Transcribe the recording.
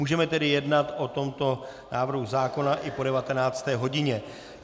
Můžeme tedy jednat o tomto návrhu zákona i po 19. hodině.